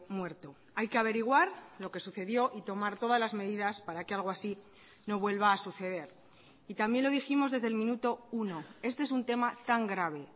muerto hay que averiguar lo que sucedió y tomar todas las medidas para que algo así no vuelva a suceder y también lo dijimos desde el minuto uno este es un tema tan grave